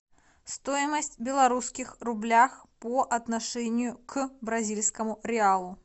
стоимость белорусских рублях по отношению к бразильскому реалу